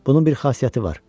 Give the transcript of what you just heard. Bunun bir xüsusiyyəti var.